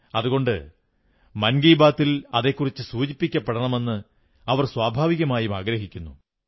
അതുകൊണ്ട് മൻ കീ ബാത്തിൽ അതെക്കുറിച്ചു സൂചിപ്പിക്കപ്പെടണമെന്ന് അവർ സ്വാഭാവികമായും ആഗ്രഹിക്കുന്നു